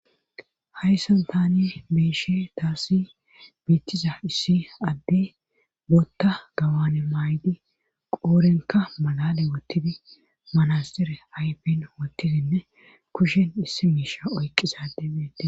Hayssan tani be7ishe taasi biittiza issi adde botta gawane maaydi qoorenka malale wottidi manastire aypin woottidinne kushen issi miisha oyqisade beede.